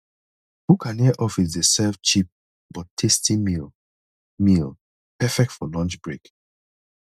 bukka near office dey serve cheap but tasty meal meal perfect for lunch break